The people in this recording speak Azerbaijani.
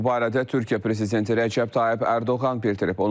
Bu barədə Türkiyə prezidenti Rəcəb Tayyib Ərdoğan bildirib.